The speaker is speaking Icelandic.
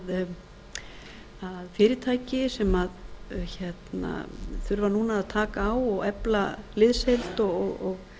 að fyrirtæki sem þurfa núna að taka á og efla liðsheild og